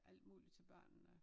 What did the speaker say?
Alt muligt til børnene